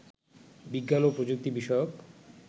বিজ্ঞান ও প্রযুক্তি বিষয়ক